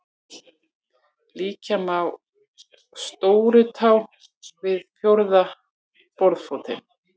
Líkja má stórutá við fjórða borðfótinn.